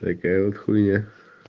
такая вот хуйня